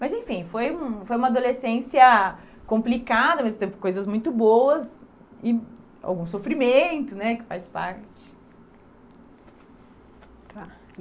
Mas, enfim, foi um foi uma adolescência complicada, mas, ao mesmo tempo, coisas muito boas e algum sofrimento, né, que faz parte. Claro.